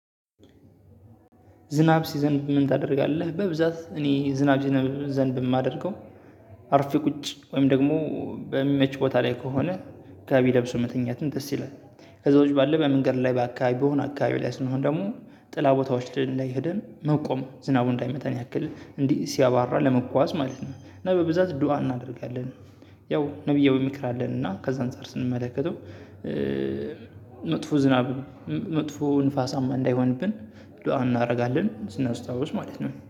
ዝናብ ሲዘንብ ምን ታደርጋለህ? በብዛት እኔ ዝናብ ሲዘንብ እማደርገው አርፌ ቁጭ ወይም ደግሞ በሚመች ቦታ ላይ ከሆነ ጋቢ ለብሶ መተኛትም ደስ ይላል። ከዛ ውጪ ባለው በመንገድ ላይ ባካባቢ በሆነ አካባቢ ላይ ስንሆን ደግሞ ጥላ ቦታዎች ላይ ሄደን መቆም ዝናቡ እንዳይመታን ያክል እንዲህ ሲያባራ ለመጓዝ ማለት ነው። እና በብዛት ዱአ እናደርጋለን። ያው ነብያዊ ምክር አለን እና አዛ አንፃር ስንመለከተው። መጥፎ ዝናብ መጥፎ ዝናባማ እንዳይሆንብን። ዱአ እናረጋለን ስናስታውስ ማለት ነው